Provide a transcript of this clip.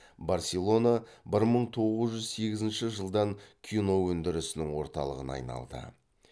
барселона бір мың тоғыз жүз сегізінші жылдан кино өндірісінің орталығына айналды